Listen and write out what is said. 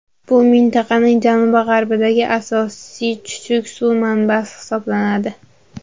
Bu mintaqaning janubi-g‘arbidagi asosiy chuchuk suv manbasi hisoblanadi.